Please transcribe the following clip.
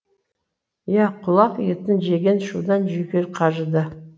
иә құлақ етін жеген шудан жүйке қажыды